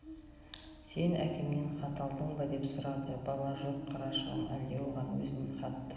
сен әкемнен хат алдың ба деп сұрады бала жоқ қарашығым әлде оған өзін хат